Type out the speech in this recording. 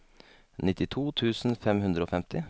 nittito tusen fem hundre og femti